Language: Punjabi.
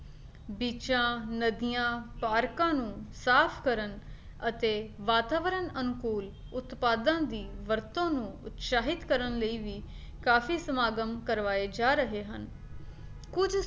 ਬਿੱਚਾਂ, ਨਦੀਆਂ, ਪਾਰਕਾਂ ਨੂੰ ਸਾਫ ਕਰਨ ਅਤੇ ਵਾਤਾਵਰਨ ਅਨੁਕੂਲ ਉਤਪਾਦਾਂ ਦੀ ਵਰਤੋਂ ਨੂੰ ਉਤਸ਼ਾਹਿਤ ਕਰਨ ਲਈ ਵੀ ਕਾਫੀ ਸਮਾਗਮ ਕਰਵਾਏ ਜਾ ਰਹੇ ਹਨ ਕੁੱਝ